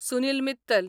Sunil Mittal